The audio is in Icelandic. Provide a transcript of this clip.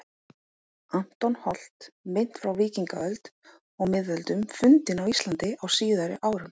Anton Holt, Mynt frá víkingaöld og miðöldum fundin á Íslandi á síðari árum